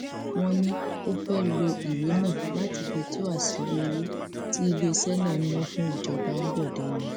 wọn ní ó fẹẹ lo ìwé náà láti fi tú àṣírí owó tí iléeṣẹ náà ná fún ìjọba ambode ni